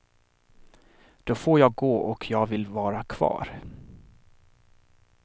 Då får jag gå och jag vill vara kvar.